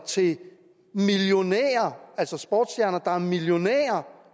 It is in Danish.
til millionærer altså sportsstjerner der er millionærer